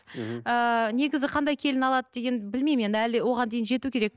ы негізі қандай келін алады деген білмеймін енді әлі оған дейін жету керек